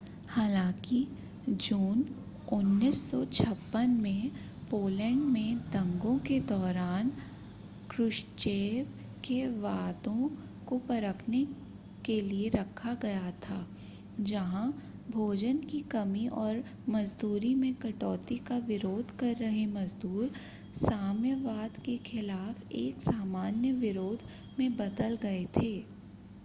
हालांकि जून 1956 में पोलैंड में दंगों के दौरान क्रुश्चेव के वादों को परखने के लिए रखा गया था जहां भोजन की कमी और मज़दूरी में कटौती का विरोध कर रहे मज़दूर साम्यवाद के ख़िलाफ़ एक सामान्य विरोध में बदल गए थे